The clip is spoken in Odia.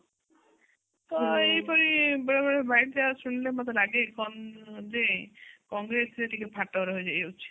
ତ ଏହି ଭଳି ବେଳେବେଳେ bichance ଶୁଣିଲେ ମତେ ଲାଗେ କଣ ଯେ କଂଗ୍ରେସ ରେ ଟିକେ ଫାଟ ରହିଯାଉଛି